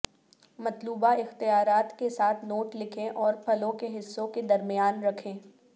مطلوبہ اختیارات کے ساتھ نوٹ لکھیں اور پھلوں کے حصوں کے درمیان رکھ